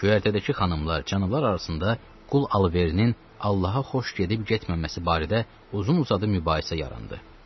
Göyərtədəki xanımlar, cənablar arasında qul alverinin Allaha xoş gedib-getməməsi barədə uzun-uzadı mübahisə yarandı.